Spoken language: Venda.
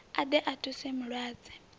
a ḓe a thuse mulwadze